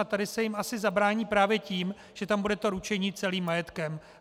A tady se jim asi zabrání právě tím, že tam bude to ručení celým majetkem.